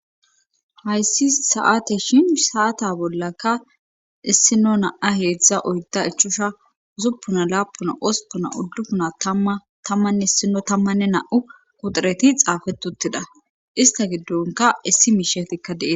Hayssi saate shin saata bollakka issino naa heedzdza oydda ichusha usuppuna laapuna ospuna uddufuna tammanne ssino tammanne na7u kuxureti xaafetuttida ista giddonka issi miishetikka deee.